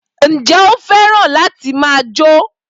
Ǹjẹ́ o fẹ́ràn láti máa jó?